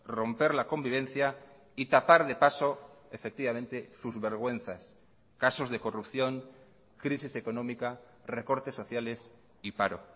romper la convivencia y tapar de paso efectivamente sus vergüenzas casos de corrupción crisis económica recortes sociales y paro